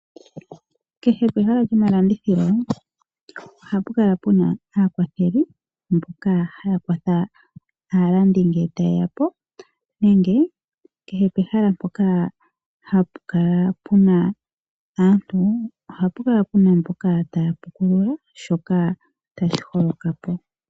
Kehe pehala lyomalandithilo ohapu kala pena aakwatheli mboka haakwatha aalandi ngee tayeyapo nenge kehe pehala mpoka puna aantu ohapu kala pena mboka taya pukuluka shoka tashiholokapo.